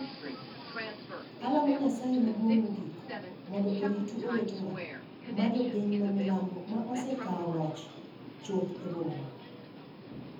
Alamo Nyasaye Maduong’ Mogik mondo oritu owetewa ma jo piny ma milambo ma osekawo loch chuth e bomano.